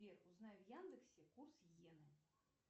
сбер узнай в яндексе курс йены